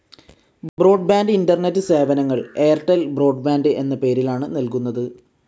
Broadband internet സേവനങ്ങൾ Airtel broadband എന്ന പേരിലാണ് നൽകുന്നത്.